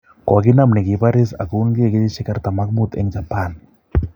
Kaginam negipariis ako winykeee kenyisiek 45 en Japan